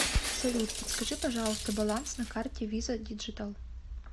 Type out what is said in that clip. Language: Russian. салют подскажи пожалуйста баланс на карте виза диджитал